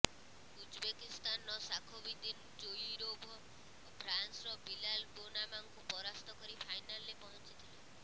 ଉଜବେକିସ୍ତାନର Shakhobidin Zoirov ଫ୍ରାନ୍ସର Bilal ବେନାମାଙ୍କୁ ପରାସ୍ତ କରି ଫାଇନାଲରେ ପହଞ୍ଚିଥିଲେ